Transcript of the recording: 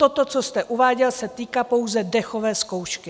Toto, co jste uváděl, se týká pouze dechové zkoušky.